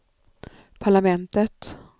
parlamentet